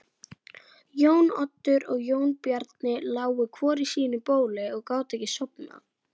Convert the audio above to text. Páll og Sigrún.